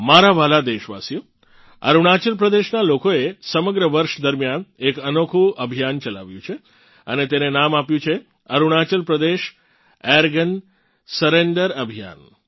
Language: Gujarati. મારા વ્હાલાં દેશવાસીઓ અરુણાચલ પ્રદેશનાં લોકોએ સમગ્ર વર્ષ દરમિયાન એક અનોખું અભિયાન ચલાવ્યું છે અને તેને નામ આપ્યું છે અરુણાચલ પ્રદેશ એરગન સરેંડર અભિયાન